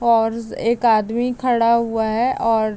और एक आदमी खड़ा हुआ हैं और --